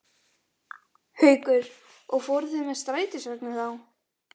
Haukur: Og fóruð þið með strætisvagni þá?